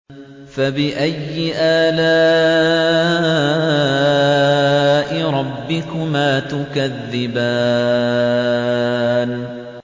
فَبِأَيِّ آلَاءِ رَبِّكُمَا تُكَذِّبَانِ